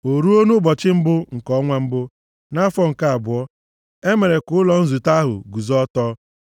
O ruo, nʼụbọchị mbụ nke ọnwa mbụ, nʼafọ nke abụọ, e mere ka ụlọ nzute ahụ guzo ọtọ.